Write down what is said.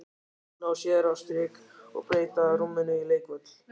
Ná sér á strik og breyta rúminu í leikvöll.